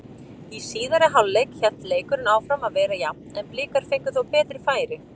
Í síðari hálfleik hélt leikurinn áfram að vera jafn en Blikar fengu þó betri færi.